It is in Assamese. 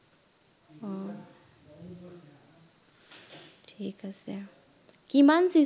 ঠিক আছে, কিমান পিছে